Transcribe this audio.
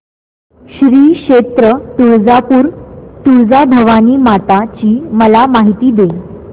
श्री क्षेत्र तुळजापूर तुळजाभवानी माता ची मला माहिती दे